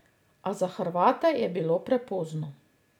A za Hrvate je bilo prepozno.